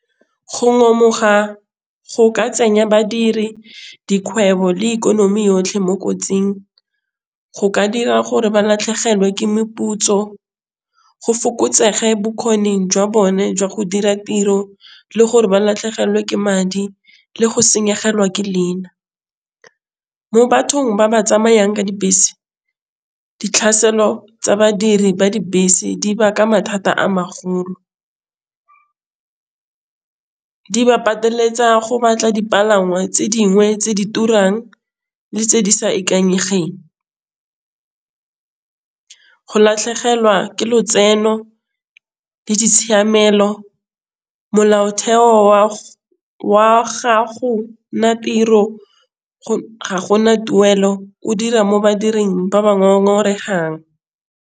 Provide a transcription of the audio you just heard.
Go ngomoga go ka tsenya badiri dikgwebo le ikonomi yotlhe mo kotsing. Go ka dira gore ba latlhegelwe ke meputso go fokotsege bokgoni jwa bone jwa go dira tiro le gore ba latlhegelwe ke madi le go senyegelwa ke leina. Mo bathong ba ba tsamayang ka dibese ditlhaelo tsa badiri ba dibese di baka mathata a magolo ba pateletsa go batla dipalangwa tse dingwe tse di turang le tse di sa ikanyegang, go latlhegelwa ke lotseno le ditshiamelo molaotheo wa gago nna tiro go ga gona tuelo o dira mo badiring ba ba ngongotehang.